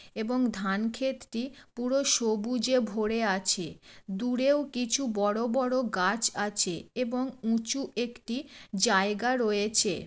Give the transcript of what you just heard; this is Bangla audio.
এবং ধানক্ষেতটি পুরো সবুজে ভরে আছে । দূরেও কিছু বড় বড় গাছ আছে এবং উঁচু একটি জায়গা রয়েছে।